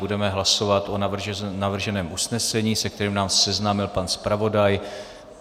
Budeme hlasovat o navrženém usnesení, se kterým nás seznámil pan zpravodaj.